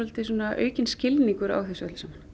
aukinn skilningur á þessu öllu saman